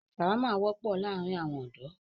ṣàwámà wọ́pọ̀ láàrín àwọn ọ̀dọ̀.